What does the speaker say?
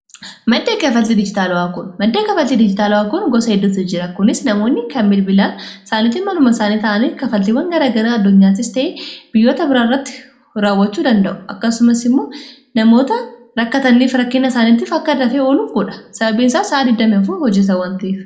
madda kafaltii diijitaala'aa kun gosa hidduti jira kunis namoonni kan bilbilaal isaaniitti maluma isaanii ta'anii kafaltiiwwan garagarai addunyaatis ta'ee biyyoota biraa irratti raawwachuu danda'u akkasumas immoo namoota rakkatanniif rakkinna isaaniittiif akka dafee oluun kuudha sababiin isaaf sa'a 20f hojesawwantiif